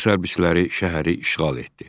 Rus hərbçiləri şəhəri işğal etdi.